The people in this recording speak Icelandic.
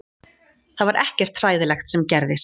Það var ekkert hræðilegt sem gerðist